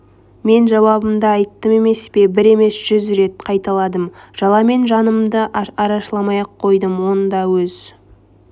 мен жауабымды айттым емес пе бір емес жүз рет қайталадым жаламен жанымды арашаламай-ақ қойдым онда өз